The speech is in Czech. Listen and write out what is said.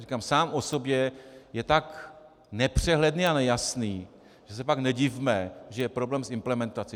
Říkám, sám o sobě je tak nepřehledný a nejasný, že se pak nedivme, že je problém s implementací.